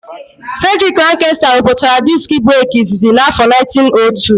Fredriki Lankesta rụpụtara diski breki izizi n'áfọ 1902.